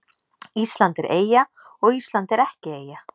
Ísland er eyja og Ísland er ekki eyja